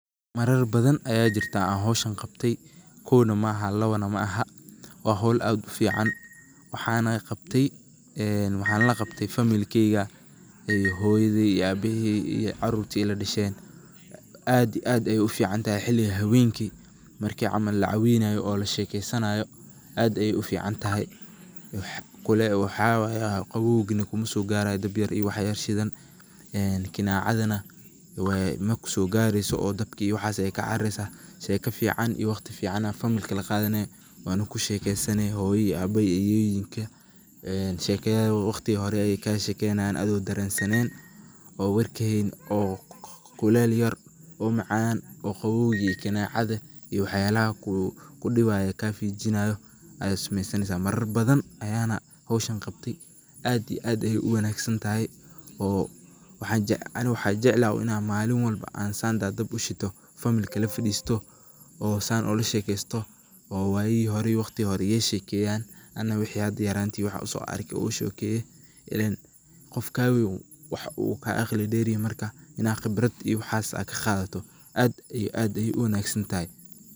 Marar badan ayaa jirtaa oo howshan an qabtay kowna maaha laban maaha ,waxana la qabtay famillkeyga hoyadey iyo abahey iyo carurta ila dashen. waxay ka baxaan guryahooda si ay u noolaadaan meel dabiici ah sida kaymaha, buuraha, dooxooyinka, ama xataa meelaha saxaraha ah. Inta lagu guda jiro kashaakee, dadka waxay dhistaan teendhooyin , dab shitaan , waxayna cunaan cunto fudud oo banaanka lagu kariyo. Dabka la shito habeenkii waa astaanta ugu weyn ee kashaakee. Waxaa lagu kulmaa hareerihiisa, sheekooyin lagu wadaagaa, heeso la qaadaa, iyo xataa hilib la dubaa. Dabka wuxuu bixiya iftiin, diirimaad, iyo dareen nabadeed oo dabiici ah. Waxa kale oo uu ka hortagaa duurjoogta habeenkii. Waa muhiim in si badbaado leh loo shito dabka lana damiyo marka la seexanayo ama la tagayo goobta. Qof ka wen waxaa u ka qibrad der yahay marka inaad qibrad iyo waxas aad kaqadato aad iyo aad ayey u wanagsan tahay